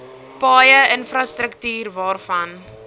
paaie infrastruktuur waarvan